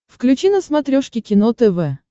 включи на смотрешке кино тв